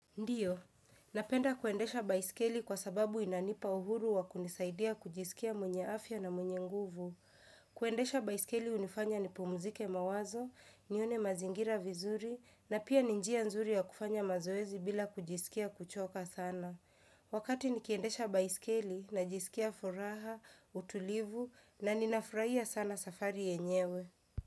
Ndiyo, napenda kuendesha baiskeli kwa sababu inanipa uhuru wa kunisaidia kujisikia mwenye afya na mwenye nguvu. Kuendesha baiskeli hunifanya nipumzike mawazo, nione mazingira vizuri, na pia ninjia nzuri ya kufanya mazoezi bila kujisikia kuchoka sana. Wakati nikiendesha baisikeli, najisikia furaha, utulivu, na ninafurahia sana safari yenyewe.